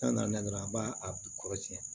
N'a nana dɔrɔn an b'a a bi kɔrɔsiyɛn